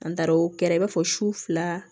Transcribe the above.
An taara o kɛra i b'a fɔ su fila